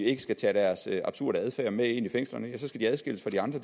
ikke tage deres absurde adfærd med ind i fængslerne så skal de adskilles fra de andre